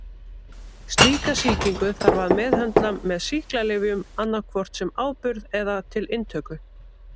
Slíka sýkingu þarf að meðhöndla með sýklalyfjum annað hvort sem áburð eða til inntöku.